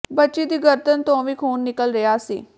ਬੱਚੀ ਦੀ ਗਰਦਨ ਤੋਂ ਵੀ ਖੂਨ ਨਿਕਲ ਰਿਹਾ ਸੀ